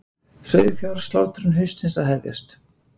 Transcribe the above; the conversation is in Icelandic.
Sauðfjárslátrun haustsins að hefjast